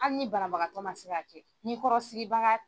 Hali ni banabagatɔ ma se k'a kɛ, ni kɔrɔ sigibaga